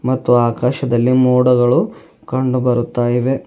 ಮತ್ತು ಆಕಾಶದಲ್ಲಿ ಮೋಡಗಳು ಕಂಡು ಬರುತ್ತಾ ಇವೆ.